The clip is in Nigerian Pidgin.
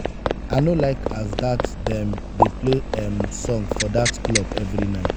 i no like as dat dem dey play um song for dat club every night.